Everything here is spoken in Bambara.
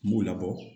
N b'u labɔ